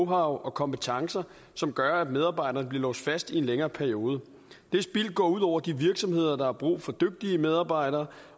og kompetencer som gør at medarbejderen bliver låst fast i en længere periode det spild går ud over de virksomheder der har brug for dygtige medarbejdere